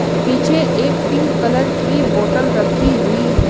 पीछे एक pink colour की बॉटल रखी हुई है।